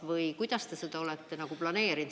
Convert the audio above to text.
Või kuidas te seda olete planeerinud?